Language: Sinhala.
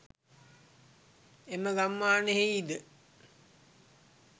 එම ගම්මානයෙහි ද